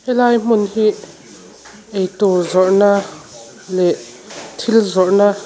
helai hmun hi eitur zawrh na leh thil zawrhna na.